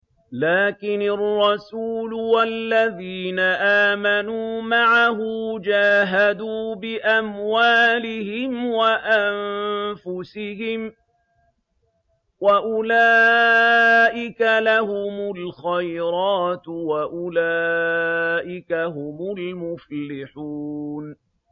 لَٰكِنِ الرَّسُولُ وَالَّذِينَ آمَنُوا مَعَهُ جَاهَدُوا بِأَمْوَالِهِمْ وَأَنفُسِهِمْ ۚ وَأُولَٰئِكَ لَهُمُ الْخَيْرَاتُ ۖ وَأُولَٰئِكَ هُمُ الْمُفْلِحُونَ